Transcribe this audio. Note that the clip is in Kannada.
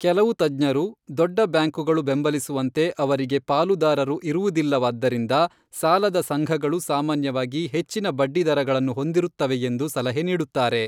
ಕೆಲವು ತಜ್ಞರು, ದೊಡ್ಡ ಬ್ಯಾಂಕುಗಳು ಬೆಂಬಲಿಸುವಂತೆ ಅವರಿಗೆ ಪಾಲುದಾರರು ಇರುವುದಿಲ್ಲವಾದ್ದರಿಂದ ಸಾಲದ ಸಂಘಗಳು ಸಾಮಾನ್ಯವಾಗಿ ಹೆಚ್ಚಿನ ಬಡ್ಡಿದರಗಳನ್ನು ಹೊಂದಿರುತ್ತವೆಯೆಂದು ಸಲಹೆ ನೀಡುತ್ತಾರೆ.